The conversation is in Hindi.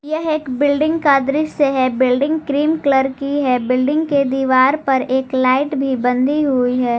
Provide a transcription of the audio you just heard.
यह एक बिल्डिंग का दृश्य है बिल्डिंग क्रीम कलर की है बिल्डिंग के दीवार पर एक लाइट भी बंधी हुई है।